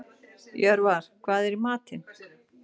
Jörvar, hvað er í matinn?